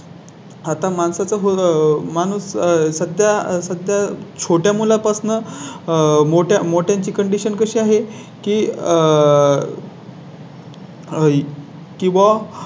आता माणसं तर माणूस सध्या सध्या छोट्या मुलांपासून मोठ्या मोठ्या ची Condition कशी आहे की आह?